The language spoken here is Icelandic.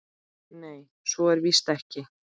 Nei, svo er víst ekki.